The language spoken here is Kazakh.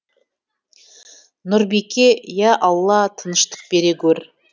нұрбике ия алла тыныштық бере гөр